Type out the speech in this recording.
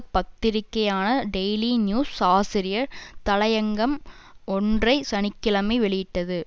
பத்திரிகையான daily news ஆசிரியர் தலயங்கம் ஒன்றை சனி கிழமை வெளியிட்டது